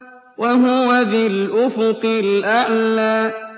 وَهُوَ بِالْأُفُقِ الْأَعْلَىٰ